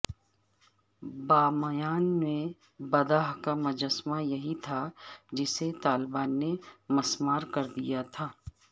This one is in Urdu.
بامیان میں بدھا کا مجسمہ یہیں تھا جسے طالبان نے مسمار کردیا تھا